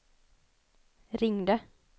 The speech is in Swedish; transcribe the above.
ringde